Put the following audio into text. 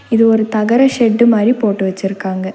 இது ஒரு தகர ஷெட்டு மாரி போட்டு வச்சுருக்காங்க.